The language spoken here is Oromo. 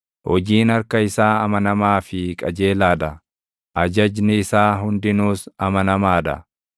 Hojiin harka isaa amanamaa fi qajeelaa dha; ajajni isaa hundinuus amanamaa dha.